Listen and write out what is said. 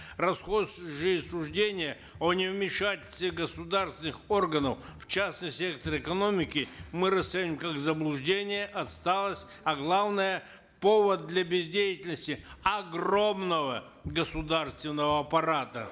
расхожие суждения о невмешательстве государственных органов в частный сектор экономики мы расцениваем как заблуждение отсталость а главное повод для бездеятельности огромного государственного аппарата